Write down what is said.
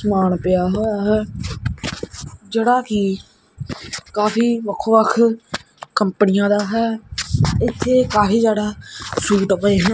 ਸਮਾਨ ਪਿਆ ਹੋਇਆ ਹੈ ਜੇਹੜਾ ਕੀ ਕਾਫੀ ਵੱਖ ਵੱਖ ਕੰਪਨੀਆਂ ਦਾ ਹੈ ਇੱਥੇ ਕਾਫੀ ਜਿਆਦਾ ਫਰੂਟ ਪਏ ਹਨ।